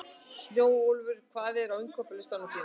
Snjólfur, hvað er á innkaupalistanum mínum?